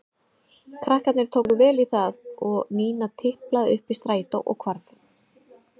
Krakkarnir tóku vel í það og Nína tiplaði upp í strætó og hvarf.